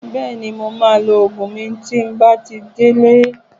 Bẹ́ẹ̀ni, mo maa lo Ògùn mi tí n bá ti dé lé